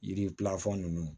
Yiri pilafɛnw ninnu